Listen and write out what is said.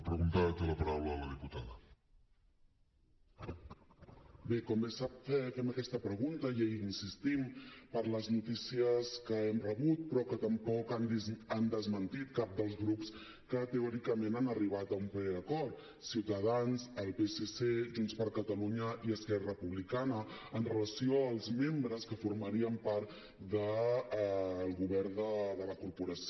bé com bé sap fem aquesta pregunta i hi insistim per les notícies que hem rebut però que tampoc han desmentit cap dels grups que teòricament han arribat a un preacord ciutadans el psc junts per catalunya i esquerra republicana amb relació als membres que formarien part del govern de la corporació